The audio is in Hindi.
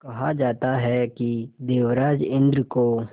कहा जाता है कि देवराज इंद्र को